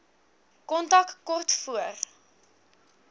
kontak kort voor